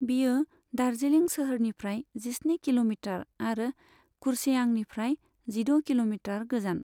बेयो दार्जिलिं सोहोरनिफ्राय जिस्नि किल'मिटार आरो कुर्सेआंनिफ्राय जिद' किल'मिटार गोजान।